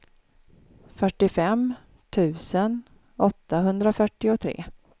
fyrtiofem tusen åttahundrafyrtiotre